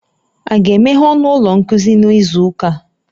A ga-emeghe ọnụ ụlọ nkuzi n'izu ụka?